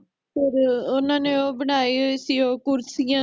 ਫਿਰ ਓਹਨਾ ਨੇ ਉਹ ਬਣਾਈ ਹੋਈ ਸੀ ਓ ਕੁਰਸੀਆਂ